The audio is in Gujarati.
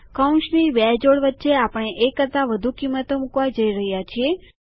કૌંસની બે જોડ વચ્ચે આપણે એક કરતાં વધુ કિંમતો મુકવા જઈ રહ્યા છીએ